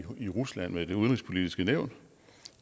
i rusland med det udenrigspolitiske nævn